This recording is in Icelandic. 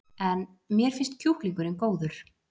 En: Mér finnst kjúklingurinn góður?